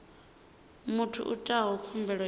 muthu o itaho khumbelo i